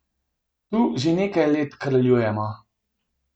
Tu že nekaj let kraljujemo.